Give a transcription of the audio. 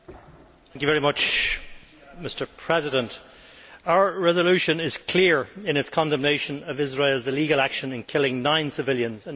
Mr President, our resolution is clear in its condemnation of Israel's illegal action in killing nine civilians and injuring